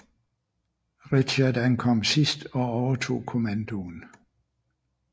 Richard ankom sidst og overtog kommandoen